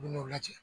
U bɛ n'u lajɛ